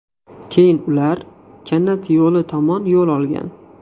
Keyin ular kanat yo‘li tomon yo‘l olgan.